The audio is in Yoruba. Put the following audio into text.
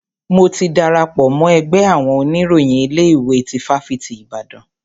Mo ti darapọ̀ mọ́ ẹgbẹ́ àwọn oníròyìn ilé ìwé tí ifáfitì Ibadan.